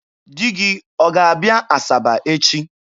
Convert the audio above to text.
Di gị ọ ga-abịa Asaba echi?